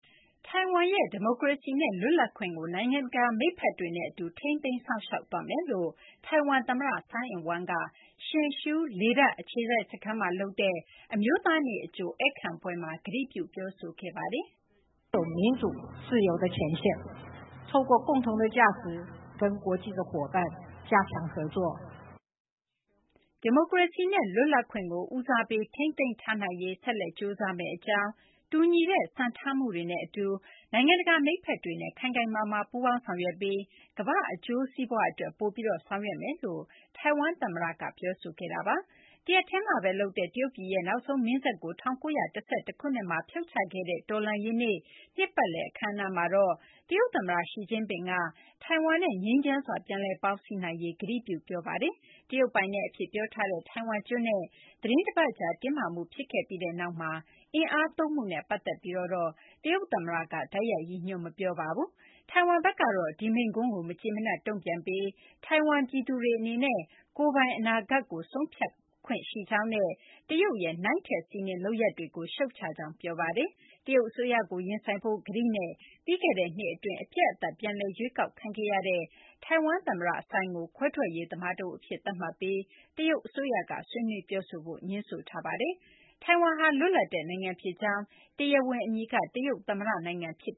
ထိုင်ဝမ်ရဲ့ ဒီမိုကရေစီနဲ့ လွတ်လပ်ခွင့်ကို နိုင်ငံတကာ မိတ်ဘက်တွေနဲ့အတူ ထိန်းသိမ်းစောင့်ရှောက်သွားမယ်လို့ ထိုင်ဝမ်သမ္မတ Tsai Ing-wen က Hsinchu လေတပ်အခြေစိုက်စခန်းမှာ လုပ်တဲ့ အမျိုးသားနေ့အကြို ဧည့်ခံပွဲမှာ ကတိပြု ပြောဆိုခဲ့ပါတယ်။ ဒီမိုကရေစီနဲ့ လွတ်လပ်ခွင့်ကို ဦးစားပေး ထိန်းသိမ်းထားနိုင်ရေး ဆက်လက် ကြိုးစားမယ့်အကြောင်း၊ တူညီတဲ့ စံထားမှုတွေနဲ့အတူ နိုင်ငံတကာ မိတ်ဘက်တွေနဲ့ ခိုင်ခိုင်မာမာ ပူးပေါင်းဆောင်ရွက်ပြီး ကမ္ဘာ့အကျိုးစီးပွားအတွက် ပိုပြီး ဆောင်ရွက်မယ့် အကြောင်း ထိုင်ဝမ်သမ္မတ Tsai Ing-wen က ပြောဆိုခဲ့တာပါ။ တရက်တည်းမှာဘဲ လုပ်တဲ့ တရုတ်ပြည်ရဲ့ နောက်ဆုံးမင်းဆက်ကို ၁၉၁၁ ခုနှစ်မှာ ဖြုတ်ချခဲ့တဲ့ တော်လှန်ရေးနေ့ နှစ်ပတ်လည် အခမ်းအနားမှာတော့ တရုတ်သမ္မတ Xi Jinping က ထိုင်ဝမ်နဲ့ ငြိမ်းချမ်းစွာ ပြန်လည်ပေါင်းစည်းနိုင်ရေး ကတိပြု ပြောဆိုခဲ့ပါတယ်။ တရုတ်ပိုင်နက်အဖြစ် ပြောထားတဲ့ ထိုင်ဝမ်ကျွန်းနဲ့ သီတင်းတပတ်ကြာ တင်းမာမှု ဖြစ်ခဲ့ပြီးနောက်မှာ အင်အားသုံးမှုနဲ့ ပတ်သက်ပြီး တရုတ်သမ္မတက တိုက်ရိုက် ရည်ညွှန်း မပြောပါဘူး။ ထိုင်ဝမ်ဘက်ကတော့ ဒီမိန့်ခွန်းကို မကျေမနပ် တုံ့ပြန်ခဲ့ပြီး ထိုင်ဝမ်ပြည်သူတွေ အနေနဲ့ ကိုယ်ပိုင်အနာဂတ်ကို ဆုံးဖြတ်ခွင့်ရှိကြောင်းနဲ့ တရုတ်ရဲ့ နိုင်ထက်စီးနင်း လုပ်ရပ်တွေကို ရှုတ်ချကြောင်း ပြောဆိုခဲ့ပါတယ်။ တရုတ်အစိုးရကို ရင်ဆိုင်ဖို့ ကတိနဲ့ ပြီးခဲ့တဲ့နှစ်အတွင်း အပြတ်အသတ် ပြန်လည် ရွေးကောက်ခံခဲ့ရတဲ့ ထိုင်ဝမ်သမ္မတ Tsai ကို ခွဲထွက်ရေးသမားတဦးအဖြစ် သတ်မှတ်ပြီး တရုတ်အစိုးရက ဆွေးနွေးပြောဆိုဖို့ ငြင်းဆိုထားပါတယ်။ ထိုင်ဝမ်ဟာ လွတ်လပ်တဲ့နိုင်ငံဖြစ်ကြောင်း၊ တရားဝင်အမည်က တရုတ်သမ္မတနိုင်ငံဖြစ်